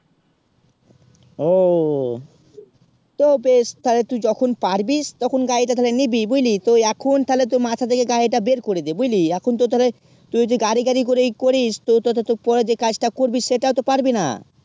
উহ তো বেশ তাইতুই যখন পারবি তখন গাড়ি তা তালে নিবি বুঝুলি তো এখন তালে তো মাথা থেকে আড়ি তা বের করে দে বুঝলি এখন তো তালে তুই যে গাড়ি গাড়ি করে ই করিস তো তো তো পরে যে কাজ তা করবি সেটাও তো পারবি না